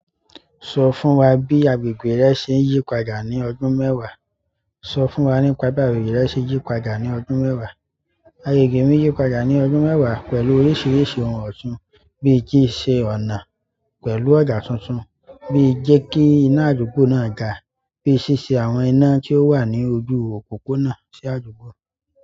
Sọ fún wa bí agbègbè rẹ ṣe ń yípadà ní ọdún mẹ́wàá. Sọ fún wa nípa bí agbègbè rẹ ṣe yípadà ní ọdún mẹ́wàá. Agbègbè mi yípadà ní ọdún mẹ́wàá pẹ̀lú oríṣiríṣi ohun ọ̀tún bí i kí ṣe ọ̀nà pẹ̀lú ọ̀dà tuntun, bí i jẹ́ kí iná àdúgbò náà da, bí i ṣíṣe àwọn iná tí ó wà ní ojú òpópónà sí àdúgbò.